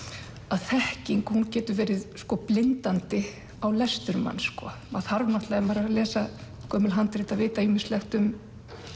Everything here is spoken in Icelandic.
þekking hún getur verið blindandi á lestur manns maður þarf ef maður er að lesa gömul handrit að vita ýmislegt um